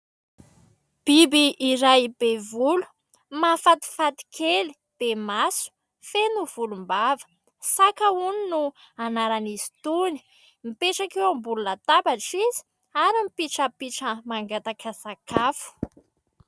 Biby iray be volo mahafatifaty kely be maso feno volombava. Saka hono no anaran'izy itony, mipetraka eo ambonina latabatra izy ary mipitrapitra mangataka sakafo.